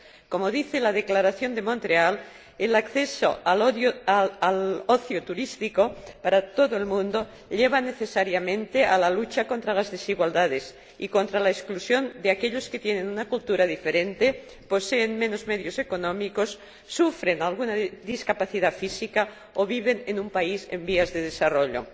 Como señala la Declaración de Montreal, el acceso al ocio turístico para todo el mundo lleva necesariamente a la lucha contra las desigualdades y contra la exclusión de aquellos que tienen una cultura diferente, poseen menos medios económicos, sufren alguna discapacidad física o viven en un país en desarrollo.